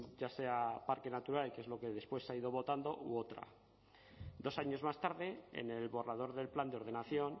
ya sea parque natural que es lo que después se ha ido votando u otra dos años más tarde en el borrador del plan de ordenación